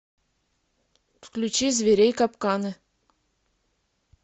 включи зверей капканы